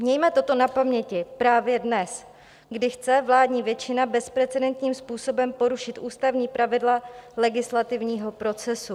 Mějme toto na paměti právě dnes, kdy chce vládní většina bezprecedentním způsobem porušit ústavní pravidla legislativního procesu.